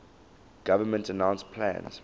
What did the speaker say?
government announced plans